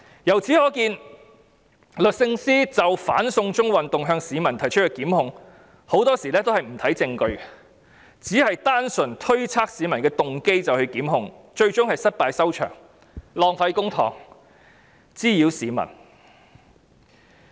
由此可見，律政司就"反送中"運動向市民提出的檢控，很多時候也不看證據，只單純推測市民的動機便作出檢控，最終是失敗收場，浪費公帑，滋擾市民。